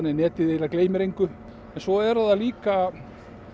að netið gleymir engu en svo eru líka